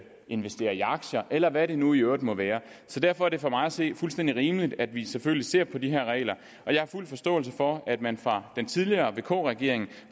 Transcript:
investerer i aktier eller hvad det nu i øvrigt må være så derfor er det for mig at se fuldstændig rimeligt at vi selvfølgelig ser på de her regler jeg har fuld forståelse for at man fra den tidligere vk regerings